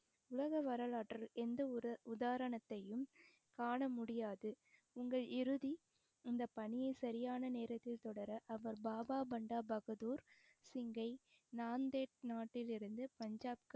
உலக வரலாற்றில் எந்த ஒரு உதாரணத்தையும் காண முடியாது உங்கள் இறுதி இந்த பணியை சரியான நேரத்தில் தொடர அவர் பாபா பண்டா பகதூர் சிங்கை நாட்டிலிருந்து பஞ்சாப்க்கு